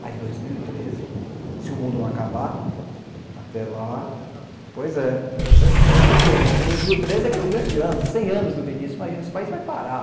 Mas dois mil e treze, se o mundo não acabar, até lá... Pois é, vai ser uma pena, porque dois mil e treze é que é o grande ano, cem anos do Vinícius, imagina, esse país vai parar.